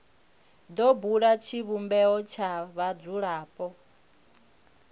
do bula tshivhumbeo tsha vhadzulapo